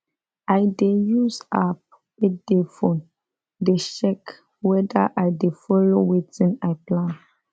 i dey use app wey dey phone dey check weda i dey follow wetin i plan